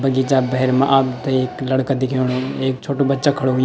बगीचा भैर मा आपथे एक लड़का दिख्येणु एक छोट्टु बच्चा खडू हुंयु।